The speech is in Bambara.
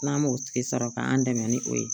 N'an m'o tigi sɔrɔ k'an dɛmɛ ni o ye